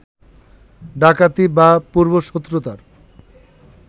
ডাকাতি বা পূর্ব-শত্রুতার